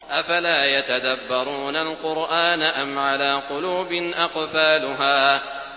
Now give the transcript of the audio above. أَفَلَا يَتَدَبَّرُونَ الْقُرْآنَ أَمْ عَلَىٰ قُلُوبٍ أَقْفَالُهَا